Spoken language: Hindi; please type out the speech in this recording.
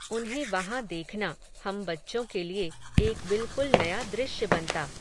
उन्हें वहां देखना, हम बच्चों के लिए, एक बिल्कुल नया दृश्य बनता